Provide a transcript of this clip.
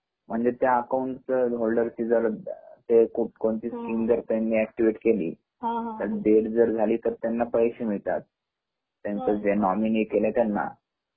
एकाद्या account holder ला कोणती स्केमं जर एकटीवेट केली पण डेट जर झाली तर पैसे मिळतात त्याचे जे नोमिनी केले त्यांना